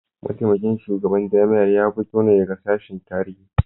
Mataimakin shugaban jami'ar ya fito ne daga sashen Tarihi